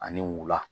Ani wula